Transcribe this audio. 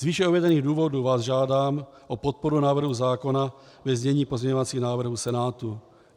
Z výše uvedených důvodů vás žádám o podporu návrhu zákona ve znění pozměňovacích návrhů Senátu.